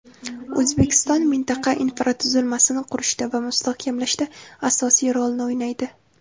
O‘zbekiston mintaqa infratuzilmasini qurishda va mustahkamlashda asosiy rolni o‘ynaydi.